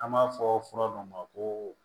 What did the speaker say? An b'a fɔ fura dɔ ma koo